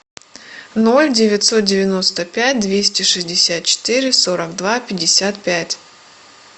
ноль девятьсот девяносто пять двести шестьдесят четыре сорок два пятьдесят пять